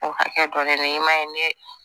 O hakɛ dɔ de i man ye ne